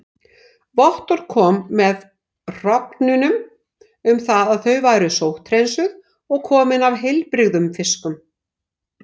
Vottorð kom með hrognunum um það að þau væru sótthreinsuð og komin af heilbrigðum fiski.